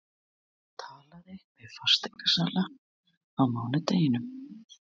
Hún talaði við fasteignasala á mánudeginum.